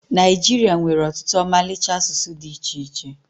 Naịjiria nwere ọtụtụ ọmalịcha asụsụ dị iche iche